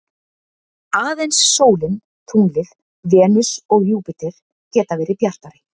Aðeins sólin, tunglið, Venus og Júpíter geta verið bjartari.